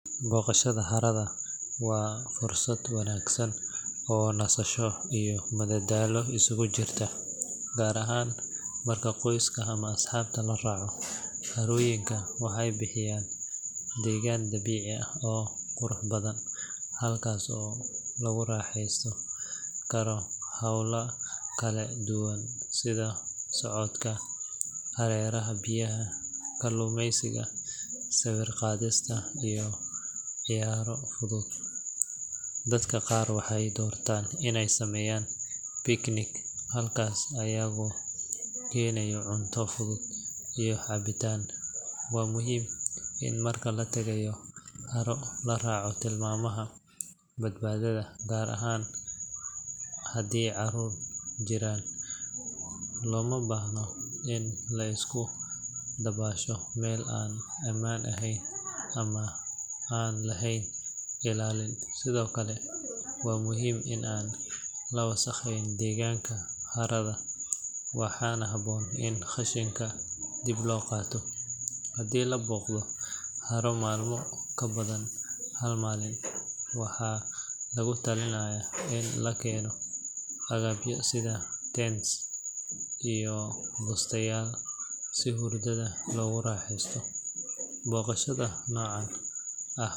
Booqashada harada waa fursad wanaagsan oo nasasho iyo madadaalo isugu jirta, gaar ahaan marka qoyska ama asxaabta la raaco. Harooyinka waxay bixiyaan deegaan dabiici ah oo qurux badan, halkaas oo lagu raaxaysan karo hawlo kala duwan sida socodka hareeraha biyaha, kalluumaysiga, sawir-qaadista, iyo ciyaaro fudud. Dadka qaar waxay doortaan inay sameeyaan picnic halkaas, iyagoo keenaya cunto fudud iyo cabitaan. Waa muhiim in marka la tagayo haro la raaco tilmaamaha badbaadada, gaar ahaan haddii carruur jiraan. Looma baahna in la iska dabaasho meel aan ammaan ahayn ama aan lahayn ilaalin. Sidoo kale, waa muhiim in aan la wasakheyn deegaanka harada, waxaana habboon in qashinka dib loo qaato. Haddii la booqdo haro maalmo ka badan hal maalin, waxaa lagu talinayaa in la keeno agabyo sida tents iyo bustayaal si hurdada loogu raaxaysto. Booqashada noocan ah.